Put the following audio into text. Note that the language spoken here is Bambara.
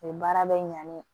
O ye baara bɛ ɲa ne ye